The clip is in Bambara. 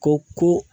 Ko ko